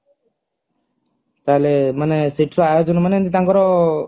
ତାହେଲେ ମାନେ ସେଠାର ଆୟୋଜନ ମାନେ ଏମିତି ତାଙ୍କର